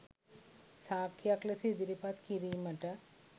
සාක්කියක් ලෙස ඉදිරිපත් කිරීමට